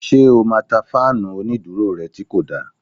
Ṣé o máa ta fáànù onídúró rẹ tí kò da?